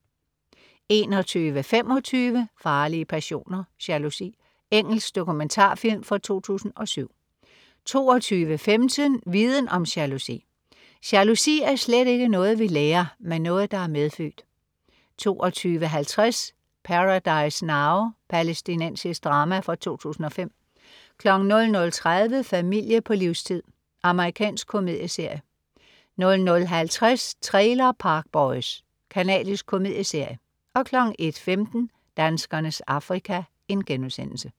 21.25 Farlige passioner: Jalousi. Engelsk dokumentarfilm fra 2007 22.15 Viden om jalousi. Jalousi er slet ikke noget, vi lærer, men noget, der er medfødt 22.50 Paradise Now. Palæstinensisk drama fra 2005 00.30 Familie på livstid. Amerikansk komedieserie 00.50 Trailer Park Boys. Canadisk komedieserie 01.15 Danskernes Afrika*